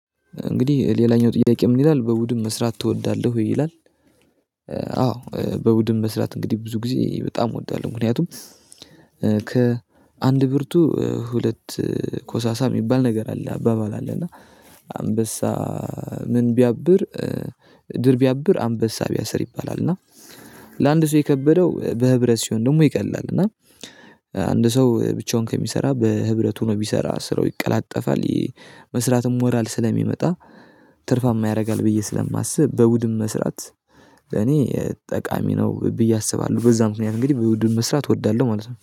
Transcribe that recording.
እንግዲህ ሌላኛው ጥያቄ ምን ይላል በቡድን መስራት ትወዳለህ? ይላል አዎ በቡድን መስራት እንግዲህ ብዙ ጊዜ በጣም እወዳለሁ። ምክንያቱም ከአንድ ብርቱ ሁለት ኮሳሳ የሚባል ነገር አለ አባባል አለ። እና አንበሳ ምን ቢያብር ድር ቢያብር አንበሳ ቢያስር ይባላል። እና ለአንድ ሰው የከበደው በህብረት ሲሆን ደግሞ ይቀላል። እና አንድ ሰው ብቻውን ከሚሰራ በህብረት ሆኖ ቢሰራ ስራው ይቀላጠፋል። ይሄ መስራትም ሞራል ስለሚመጣ ትርፋማ ያደርጋል። ብዬ ስለማስብ በቡድን መስራት እኔ ጠቃሚ ነው ብዬ አስባለሁ። በዛም ምክንያት እንግዲህ በቡድን መስራት እወዳለሁ ማለት ነው